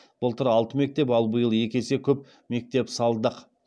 былтыр алты мектеп ал биыл екі есе көп мектеп салдық